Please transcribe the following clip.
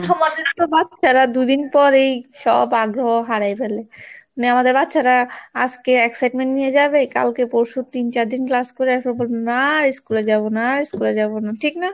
দু'দিন পর এই সব আগ্রহ হারায় ফেলে মানে আমাদের বাচ্চারা আজকে excitement নিয়ে যাবে কালকে পরশু তিন চারদিন class করে আসার পর না school এ যাব না school এ যাব না, ঠিক না?